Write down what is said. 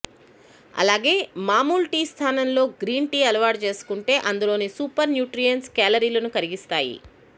అలాగే మమూలు టీ స్థానంలో గ్రీన్ టీ అలవాటు చేసుకుంటే అందులోని సూపర్ న్యూట్రియెంట్స్ కేలరీలను కరిగిస్తాయి